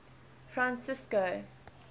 francisco